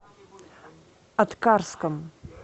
аткарском